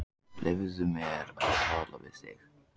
Leyfðu mér að tala við þig!